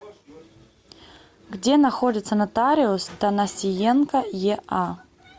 где находится нотариус танасиенко еа